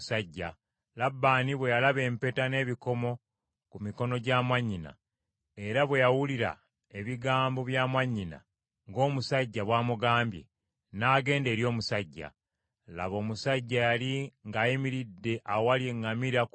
Labbaani bwe yalaba empeta n’ebikomo ku mikono gya mwannyina, era bwe yawulira ebigambo bya mwannyina ng’omusajja bw’amugambye, n’agenda eri omusajja. Laba omusajja yali ng’ayimiridde awali eŋŋamira ku luzzi.